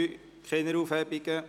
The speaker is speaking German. (Keine Aufhebungen)